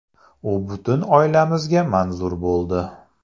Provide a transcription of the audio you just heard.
U butun oilamizga manzur bo‘ldi.